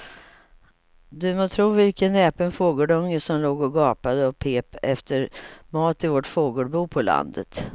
Du må tro vilken näpen fågelunge som låg och gapade och pep efter mat i vårt fågelbo på landet.